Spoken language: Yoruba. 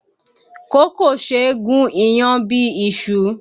Kókò ṣé e gùn iyán bíi iṣu